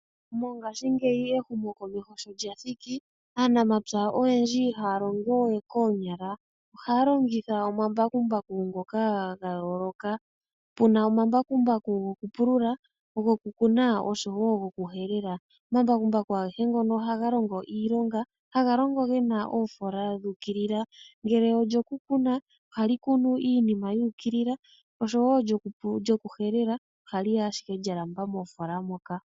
Mongashingeyi ehumo komeho sho lyathiki aanamapya oyendji ihaya longowe koonyala. Ohaya longitha omambakumbaku ngoka ga yooloka puna omambakumbaku gokupùlula gokukun̈a noshowo goku helela. Omambakumbaku agehe ngano ohaga longo ashike galandula oofola.